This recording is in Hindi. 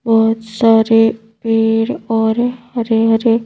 बहुत सारे पेड़ और हरे हरे।